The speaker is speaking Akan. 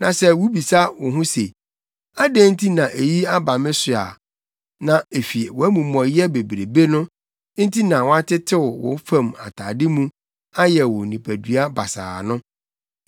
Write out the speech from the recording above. Na sɛ wubebisa wo ho se, “Adɛn nti na eyi aba me so a?” Na efi wʼamumɔyɛ bebrebe no nti na wɔatetew wo fam atade mu ayɛ wo nipadua basaa no.